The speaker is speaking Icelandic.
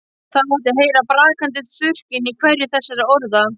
Það mátti heyra brakandi þurrkinn í hverju þessara orða.